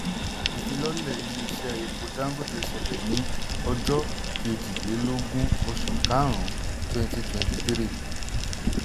ìfilọ́lẹ̀ ilé iṣẹ́ epo dangote ṣẹlẹ̀ ní ọjọ́ kejìlélógún oṣù karùn-ún 2023.